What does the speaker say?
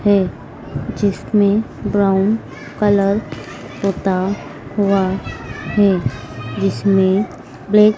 है जिसमें brown colour पुता हुआ है जिसमें ब्लैक --